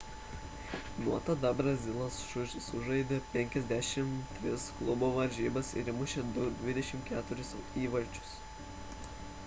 nuo tada brazilas sužaidė 53 klubo varžybas ir įmušė 24 įvarčius